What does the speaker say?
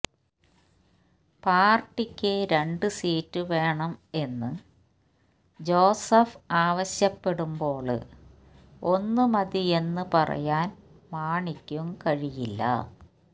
പാര്ട്ടിക്ക് രണ്ടു സീറ്റ് വേണം എന്ന് ജോസഫ് ആവശ്യപ്പെടുമ്പോള് ഒന്ന് മതിയെന്ന് പറയാന് മാണിക്കും കഴിയില്ല